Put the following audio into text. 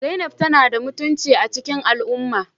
Zainab tana da mutunci a cikin al'umma